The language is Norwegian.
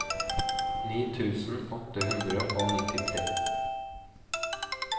ni tusen åtte hundre og nittitre